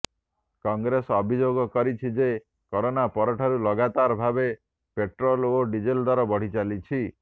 କଂଗ୍ରେସ ଅଭିଯୋଗ କରିଛି ଯେ କରୋନା ପରଠାରୁ ଲଗାତାର ଭାବେ ପେଟ୍ରୋଲ ଓ ଡିଜେଲ ଦର ବଢ଼ିଚାଲିଛି